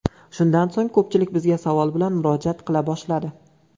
Shundan so‘ng ko‘pchilik bizga savol bilan murojaat qila boshladi.